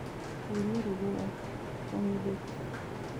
Tuuria rwĩmbo rwakwa nyendete